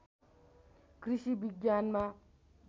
कृषि विज्ञानमा